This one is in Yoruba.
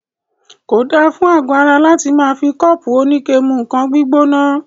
Kò dára fún àgọ ara láti máà fi kọ́ọ́pù oníke mú nǹkan gbígbóná.